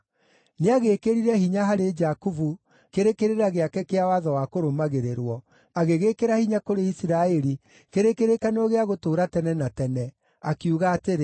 Nĩagĩĩkĩrire hinya harĩ Jakubu kĩrĩ kĩrĩra gĩake kĩa watho wa kũrũmagĩrĩrwo, agĩgĩĩkĩra hinya kũrĩ Isiraeli kĩrĩ kĩrĩkanĩro gĩa gũtũũra tene na tene, akiuga atĩrĩ: